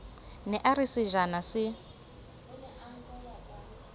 ne a re sejana se